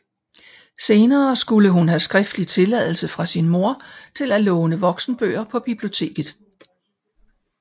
Senere skulle hun have skriftlig tilladelse fra sin mor til at låne voksenbøger på biblioteket